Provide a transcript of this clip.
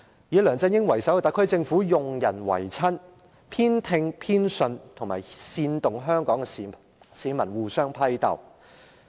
以梁振英為首的特區政府用人唯親，煽動香港市民互相批鬥。